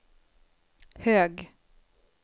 hög